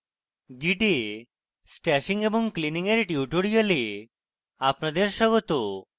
git এ stashing এবং cleaning এর tutorial আপনাদের স্বাগত